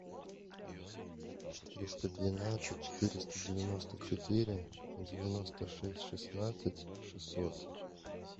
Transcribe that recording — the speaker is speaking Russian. четыреста двенадцать четыреста девяносто четыре девяносто шесть шестнадцать шестьсот